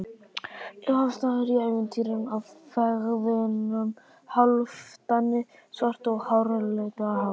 Upphafsstafur í ævintýri af feðgunum Hálfdani svarta og Haraldi hárfagra.